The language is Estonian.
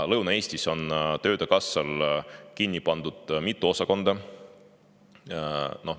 Lõuna-Eestis on töötukassal kinni pandud mitu osakonda.